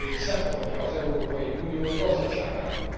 szempontja az Európai Unió gazdaságának.